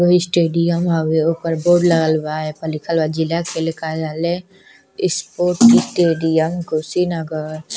वो स्टेडियम हउवे ओकर बोर्ड लागल बा एपर लिखल बा जिला खेल कार्यालय स्पोर्ट्स स्टेडियम कुशीनगर।